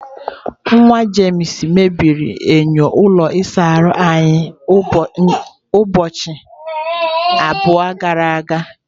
James nwa mebiri enyo ụlọ ịsa ahụ anyị ụbọchị abụọ gara aga.